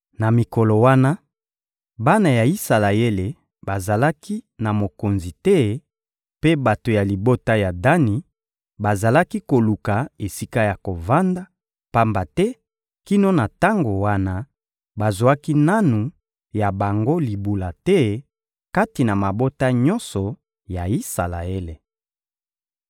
Na mikolo wana, bana ya Isalaele bazalaki na mokonzi te, mpe bato ya libota ya Dani bazalaki koluka esika ya kovanda; pamba te kino na tango wana, bazwaki nanu ya bango libula te kati na mabota nyonso ya Isalaele.